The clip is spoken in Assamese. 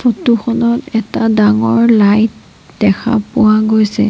ফটো খনত এটা ডাঙৰ লাইট দেখা পোৱা গৈছে।